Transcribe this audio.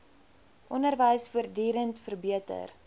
onderwys voortdurend verbeter